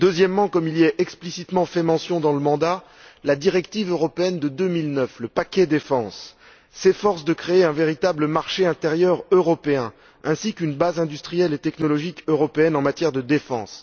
Ensuite, comme il y est explicitement fait mention dans le mandat, la directive européenne de 2009, le paquet défense, s'efforce de créer un véritable marché intérieur européen, ainsi qu'une base industrielle et technologique européenne en matière de défense.